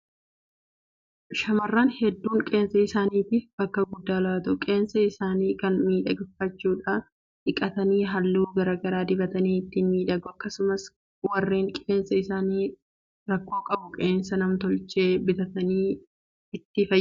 Shaamarran hedduun Qeensa isaaniitiif bakka guddaa laatu. Qeensa isaanii kana miidhagfachuudhaaf dhiqatanii halluu garaa garaa dibatanii ittiin miidhagu. Akkasumas warreen Qeensi isaanii rakkoo qabu Qeensa namtolchee bitatanii ittiin faayamu. Kunis yeroo baay'ee sagantaan adda addaa yeroo jiru hojii irra oola.